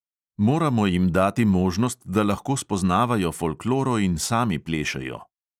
Moramo jim dati možnost, da lahko spoznavajo folkloro in sami plešejo.